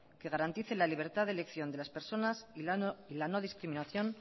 que garantice la libertad de elección de las personas y la no discriminación